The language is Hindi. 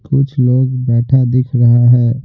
कुछ लोग बैठा दिख रहा है।